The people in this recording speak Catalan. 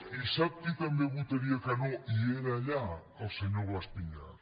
i sap qui també votaria que no i era allà el senyor blas piñar